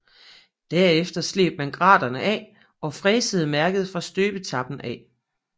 Derefter sleb man graterne af og fræsede mærket fra støbetappen af